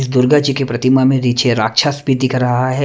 दुर्गा जी के प्रतिमा में नीचे राक्षस भी दिख रहा है।